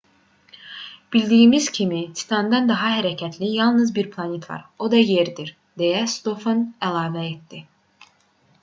bildiyimiz kimi titandan daha hərəkətli yalnız bir planet var o da yerdir deyə stofan əlavə etdi